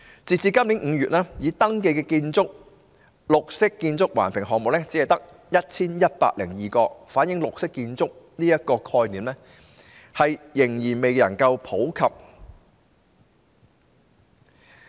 截至今年5月，已登記的綠建環評項目只有 1,102 個，反映綠色建築的概念仍未普及。